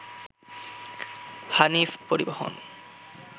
হানিফ পরিবহন